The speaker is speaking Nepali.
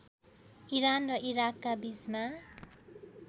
इरान र इराकका बीच